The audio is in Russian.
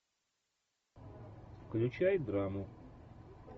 включай драму